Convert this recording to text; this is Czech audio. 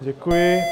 Děkuji.